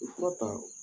Fura ta